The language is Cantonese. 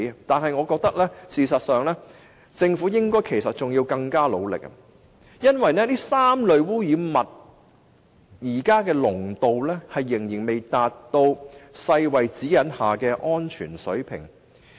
但是，我覺得政府應該要更努力，因為這3類污染物現時的濃度仍然未達到世界衞生組織指引下的安全水平。